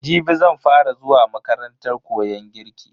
Jibi zan fa ra zuwa makarantar koyon girki.